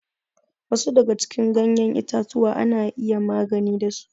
Wasu daga cikin ganyen itatuwa ana iya magani da su.